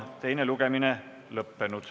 Teine lugemine on lõppenud.